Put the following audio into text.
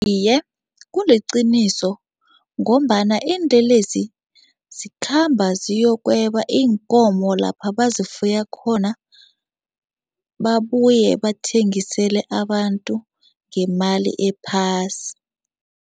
Iye, kuliqiniso ngombana iinlelesi zikhamba ziyokweba iinkomo lapha bazifuye khona, babuye bathengisele abantu ngemali ephasi.